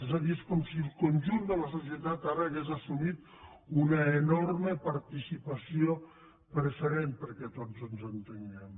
és a dir és com si el conjunt de la societat ara hagués assumit una enorme participació preferent perquè tots ens entenguem